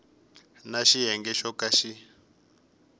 na xiyenge xo ka xi